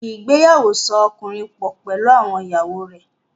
Ìgbéyàwó so ọkùnrin pọ̀ pẹ̀lú àwọn ìyàwó rẹ̀.